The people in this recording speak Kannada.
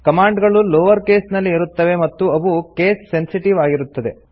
ಕಮಾಂಡ್ ಗಳು ಲೋವರ್ ಕೇಸ್ ನಲ್ಲಿ ಇರುತ್ತವೆ ಮತ್ತು ಅವು ಕೇಸ್ ಸೆನ್ಸಿಟಿವ್ ಆಗಿರುತ್ತದೆ